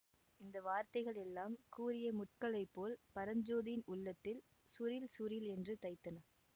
இந்த வார்த்தைகள் எல்லாம் கூரிய முட்களைப் போல் பரஞ்சோதியின் உள்ளத்தில் சுரீல் சுரீல் என்று தைத்தன